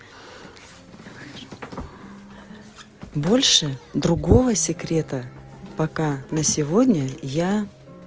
больше другого секрета пока на сегодня я